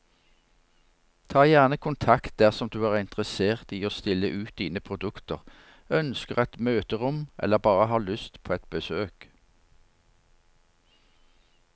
Ta gjerne kontakt dersom du er interessert i å stille ut dine produkter, ønsker et møterom eller bare har lyst på et besøk.